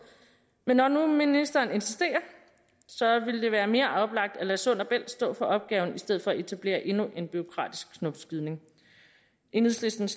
men når nu ministeren insisterer ville det være mere oplagt at lade sund bælt stå for opgaven i stedet for at etablere endnu en bureaukratisk knopskydning enhedslistens